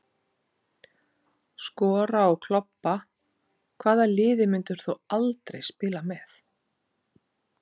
Skora og klobba Hvaða liði myndir þú aldrei spila með?